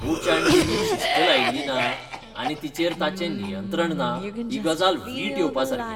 कोचान टीमीक शिस्त लयिल्ली ना आनी तिचेर ताचें नियंत्रण ना ही गजाल वीट येवपासारकी.